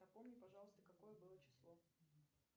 напомни пожалуйста какое было число